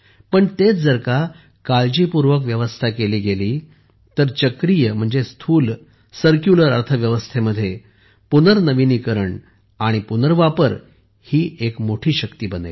पण तेच जर का काळजीपूर्वक व्यवस्था केली गेली तर चक्रीय स्थूल सर्क्युलर अर्थव्यवस्थेमध्ये पुनर्नविनीकरण आणि पुनर्वापर ही एक मोठी शक्ती बनेल